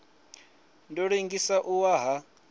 ḓo ḽengisa u wa ha